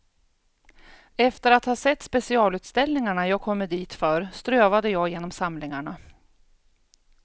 Efter att ha sett specialutställningarna jag kommit dit för strövade jag genom samlingarna.